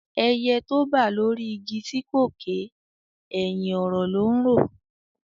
Ẹyẹ tó bà lórí igi tí kò ké, ẹ̀hìn ọ̀rọ̀ ló ńrò